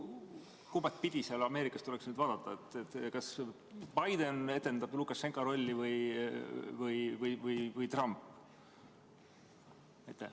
Kumba pidi Ameerikas tuleks nüüd vaadata, kas Lukašenka rolli etendab Biden või Trump?